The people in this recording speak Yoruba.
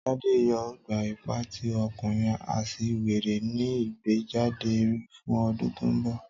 Tade yoo gba ipa ti ọkunrin aṣiwere ni igbejade ere fun ọdun to nbọ.